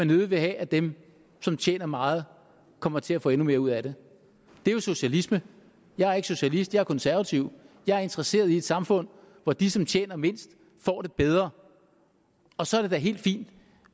nødig vil have at dem som tjener meget kommer til at få endnu mere ud af det det er jo socialisme jeg er ikke socialist jeg er konservativ jeg er interesseret i et samfund hvor de som tjener mindst får det bedre og så er det da helt fint